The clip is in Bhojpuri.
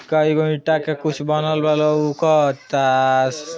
कई गो ईंटा के कुछ बनल बा लउकता।